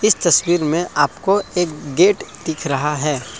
इस तस्वीर में आपको एक गेट दिख रहा है।